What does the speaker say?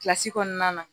Kilasi kɔnɔna na